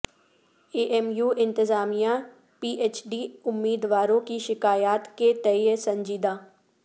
اے M U انتظامیہ P H D امیدواروں کی شکایات کے تئیں سنجیدہ